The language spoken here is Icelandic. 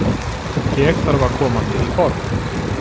Ég þarf að koma mér í form.